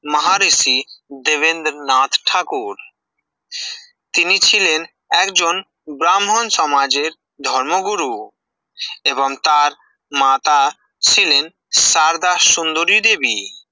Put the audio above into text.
মাহারেসি দেবেন্দ্রনাথ ঠাকুর তিনি ছিলেন একজন ব্রাহ্মণ সমাজের ধর্মগুরু এবং তার মাতা ছিলেন সারদা সুন্দরী দেবী